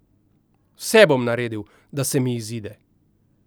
Vse bom naredil, da se mi izide.